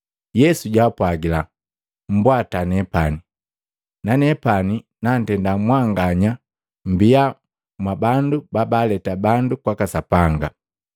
Yesu jaapwagila, “Mbwata nepani, na nepani nantenda mwanganya mbia mwa bandu babaleta bandu kwaka Sapanga.”